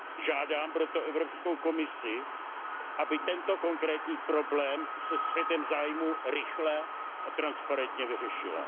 Žádám proto Evropskou komisi, aby tento konkrétní problém se střetem zájmů rychle a transparentně vyřešila.